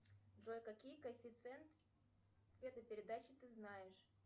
джой какие коэффициенты цветопередачи ты знаешь